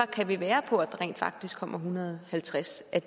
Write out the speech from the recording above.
kan være på at der rent faktisk kommer en hundrede og halvtreds af